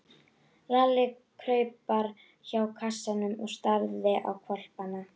Lalli kraup hjá kassanum og starði á hvolpana.